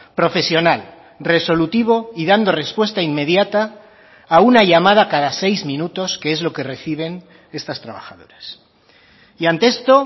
profesional resolutivo y dando respuesta inmediata a una llamada cada seis minutos que es lo que reciben estas trabajadoras y ante esto